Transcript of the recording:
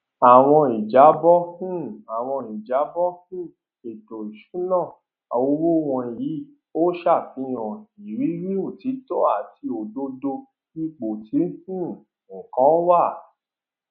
àwọn ìjábọ um àwọn ìjábọ um ètò ìṣúná owó wọnyí ò ṣàfihàn ìrírí òtítọ àti òdodo ipò tí um nǹkan wà um